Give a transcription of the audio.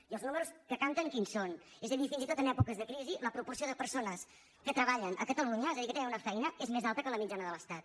i els números que canten quins són és a dir fins i tot en èpoques de crisi la proporció de persones que treballen a catalunya és a dir que tenen una feina és més alta que la mitjana de l’estat